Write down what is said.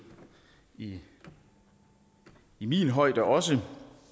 i min højde også